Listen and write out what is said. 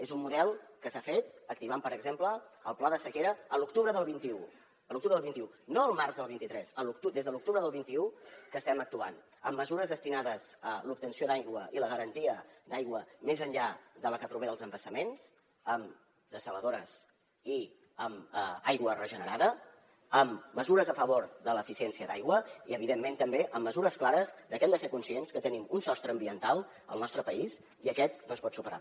és un model que s’ha fet activant per exemple el pla de sequera a l’octubre del vint un a l’octubre del vint un no al març del vint tres des de l’octubre del vint un que estem actuant amb mesures destinades a l’obtenció d’aigua i la garantia d’aigua més enllà de la que prové dels embassaments amb dessaladores i amb aigua regenerada amb mesures a favor de l’eficiència d’aigua i evidentment també amb mesures clares de que hem de ser conscients que tenim un sostre ambiental al nostre país i aquest no es pot superar